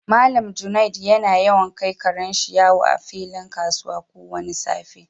Mallam Junaid yana yawan kai karen shi yawo a filin kasuwa ko wani safe.